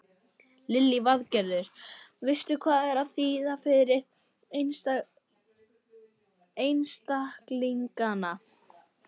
Lillý Valgerður: Veistu hvað það þýðir fyrir einstaklingana?